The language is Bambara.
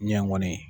Ɲɛ ŋɔni